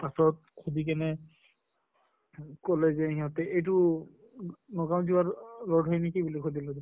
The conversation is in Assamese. পাছত সুধি কেনে কʼলে যে সিহঁতে এইটো উ নগাঁৱ যোৱা অ road হয় নেকি বুলি সুধিলো